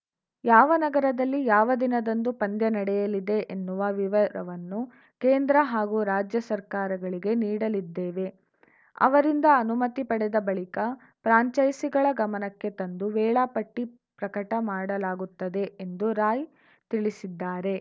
ಯಾವ ನಗರದಲ್ಲಿ ಯಾವ ದಿನದಂದು ಪಂದ್ಯ ನಡೆಯಲಿದೆ ಎನ್ನುವ ವಿವರವನ್ನು ಕೇಂದ್ರ ಹಾಗೂ ರಾಜ್ಯ ಸರ್ಕಾರಗಳಿಗೆ ನೀಡಲಿದ್ದೇವೆ ಅವರಿಂದ ಅನುಮತಿ ಪಡೆದ ಬಳಿಕ ಫ್ರಾಂಚೈಸಿಗಳ ಗಮನಕ್ಕೆ ತಂದು ವೇಳಾಪಟ್ಟಿಪ್ರಕಟ ಮಾಡಲಾಗುತ್ತದೆ ಎಂದು ರಾಯ್‌ ತಿಳಿಸಿದ್ದಾರೆ